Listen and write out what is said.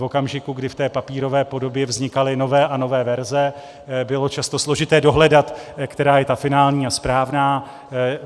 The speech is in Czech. v okamžiku, kdy v té papírové podobě vznikaly nové a nové verze, bylo často složité dohledat, která je ta finální a správná.